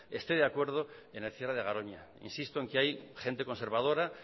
esté de acuerdo en el cierre de garoña insisto en que hay gente conservadora